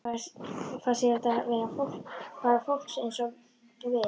Fannst þér þetta vera bara fólk svona eins og við?